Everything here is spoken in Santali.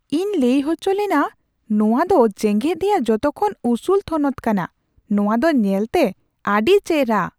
ᱤᱧ ᱞᱟᱹᱭ ᱚᱪᱚᱞᱮᱱᱟ ᱱᱚᱣᱟ ᱫᱚ ᱡᱮᱜᱮᱫ ᱨᱮᱭᱟᱜ ᱡᱚᱛᱚᱠᱷᱚᱱ ᱩᱥᱩᱞ ᱛᱷᱚᱱᱚᱛ ᱠᱟᱱᱟ ᱾ ᱱᱚᱣᱟ ᱫᱚ ᱧᱮᱞᱛᱮ ᱟᱹᱰᱤ ᱪᱮᱨᱦᱟ !